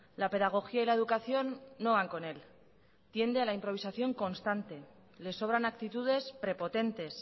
la pedagogía y la educación no van con él tiende a la improvisación constante le sobran actitudes prepotentes